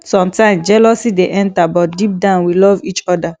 sometimes jealousy dey enter but deep down we love each oda